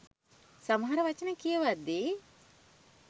සමහර වචන කියවද්දි.